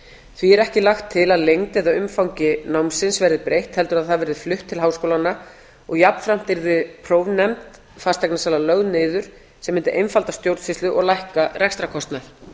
því er ekki lagt til að lengd eða umfangi námsins verði breytt heldur að það verði flutt til háskólanna og jafnframt yrði prófnefnd fasteignasala lögð niður sem mundi einfalda stjórnsýslu og lækka rekstrarkostnað